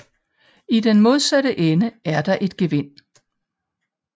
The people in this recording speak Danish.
I den modsatte ende er der et gevind